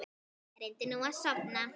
Reyndu nú að sofna.